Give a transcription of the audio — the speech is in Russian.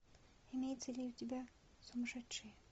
имеется ли у тебя сумасшедшие